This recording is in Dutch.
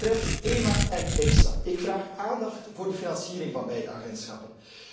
Wat betreft EMA en EFSA vraag ik aandacht voor de financiering van beide agentschappen.